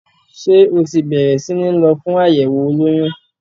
Ṣé o ti bẹ̀rẹ̀ sí ní lọ fún àyẹ̀wò olóyún?